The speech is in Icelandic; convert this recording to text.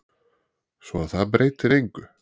Svo að það breytir engu.